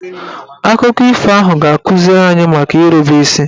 Akụkọ ifo ahụ ga-akụziri anyị maka irube isi